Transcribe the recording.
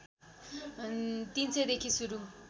३०० देखि सुरु